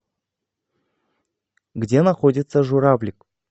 где находится журавлик